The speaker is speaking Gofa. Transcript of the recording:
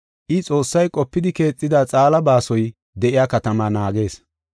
I, Xoossay qopidi keexida xaala baasoy de7iya katamaa naagees.